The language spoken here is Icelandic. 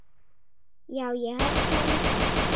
Já, ég held það líka.